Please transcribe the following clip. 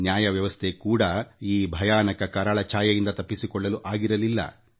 ನ್ಯಾಯಾಂಗ ವ್ಯವಸ್ಥೆ ಕೂಡ ತುರ್ತುಸ್ಥಿತಿಯ ಕರಾಳ ಛಾಯೆಯಿಂದ ತಪ್ಪಿಸಿಕೊಳ್ಳಲು ಆಗಲಿಲ್ಲ